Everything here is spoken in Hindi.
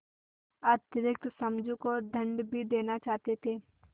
अतिरिक्त समझू को दंड भी देना चाहते थे